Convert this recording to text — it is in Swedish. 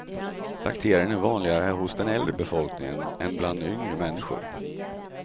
Bakterien är vanligare hos den äldre befolkningen än bland yngre människor.